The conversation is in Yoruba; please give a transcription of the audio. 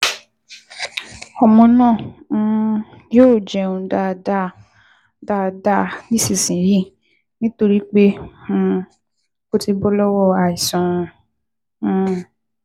Ọmọ náà um yóò jẹun dáadáa dáadáa nísinsinyìí nítorí pé um ó ti bọ́ lọ́wọ́ àìsàn um